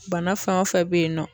Bana fɛn o fɛn be yen nɔ